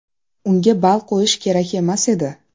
Unga ball qo‘yish kerak emas edi.